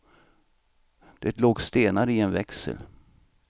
Det låg stenar i en växel.